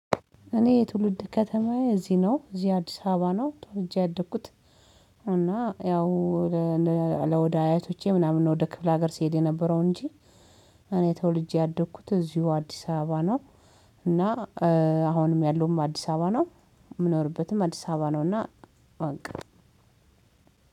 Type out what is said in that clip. እኔ የትውልድ ከተማዬ እዚህ ነው እዚህ አዲስ አበባ ነው ተወልጄ ያደግኩት። እና ያው ወደ አያቶቼ ምናምን ነው ወደ ክፍለ ሀገር ሲሄድ የነበረው እንጂ። እኔ ተወልጄ ያደግኩት እዚሁ አዲስ አበባ ነው። እና አሁንም ያለውም አዲስ አበባ ነው። የምኖርበትም አዲስ አበባ ነው እና በቃ።